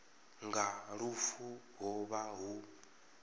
nga lufu ho vha hu